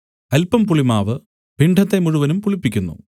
അല്പം പുളിമാവ് പിണ്ഡത്തെ മുഴുവനും പുളിപ്പിക്കുന്നു